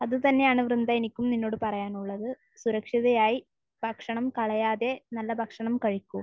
അത് തന്നെയാണ് വൃന്ദ എനിക്കും നിന്നോട് പറയാനുള്ളത്. സുരക്ഷിതയായി ഭക്ഷണം കളയാതെ നല്ല ഭക്ഷണം കഴിക്കൂ.